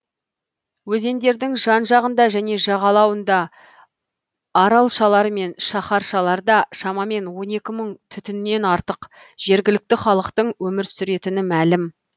өзендердің жан жағында және жағалауында аралшалар мен шаһаршаларда шамамен он екі мың түтіннен артық жергілікті халықтың өмір сүретіні мәлім